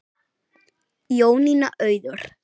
Jónína Auður.